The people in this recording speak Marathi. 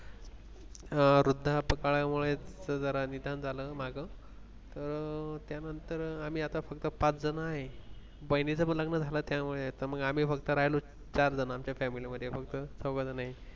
वृद्धापकाळमुळे जरा निधन झालं मागं तर त्यानंतर आम्ही आता फक्त पाच जण आहे. बहिणीचा पण लग्न झाला त्यामुळे आता मग आम्ही फक्त राहिलो चार जणांच्या Family मध्ये